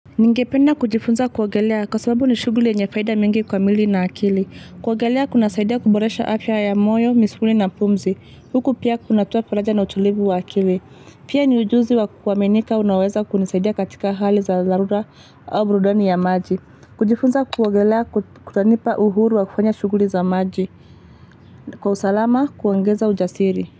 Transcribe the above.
Ningependa kujifunza kuogelea kwa sababu ni shuguli yenye faida mingi kwa mwili na akili. Kuogelea kuna saidia kuboresha afya ya moyo, misuli na pumzi. Huku pia kunatoa faraja na utulivu wa akili. Pia ni ujuzi wa kuaminika unaweza kunisaidia katika hali za dharura au burudani ya maji. Kujifunza kuwagelea kutanipa uhuru wa kufanya shuguli za maji. Kwa usalama kuongeza ujasiri.